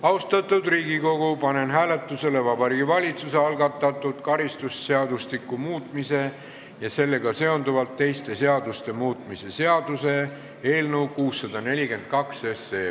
Austatud Riigikogu, panen hääletusele Vabariigi Valitsuse algatatud karistusseadustiku muutmise ja sellega seonduvalt teiste seaduste muutmise seaduse eelnõu 642.